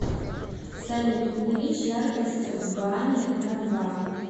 салют увеличь яркость в бане на два